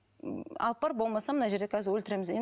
алып бар болмаса мына жерде қазір өлтіреміз